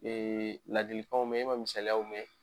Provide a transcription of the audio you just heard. Ee ladilikaw mɛn e ma misaliyaw mɛn.